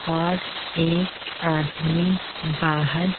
और एक आदमी बाहर।